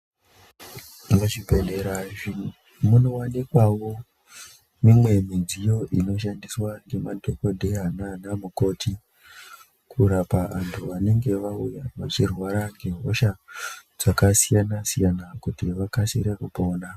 Muzvibhehlera izvi munowanikwawo mumwe midziyo inoshandiswa ngemadhokodheya nanaMukoti kurapa anhu vanenge auya achirwara ngehosha dzakasiyana siyana kuti vakasikire kupona